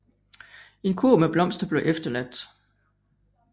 En kurv med blomster blev efterladt